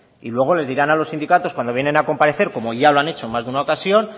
y luego les dirán a los sindicatos cuando vienen a comparecer como ya lo han hecho en más de una ocasión